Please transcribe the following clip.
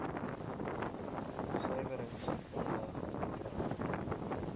suiwerings aanleg onttrek